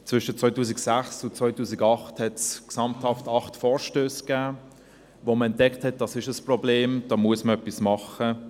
Zwischen 2006 und 2008 gab es gesamthaft acht Vorstösse, weil man entdeckte, dass dies ein Problem ist, da muss man etwas machen.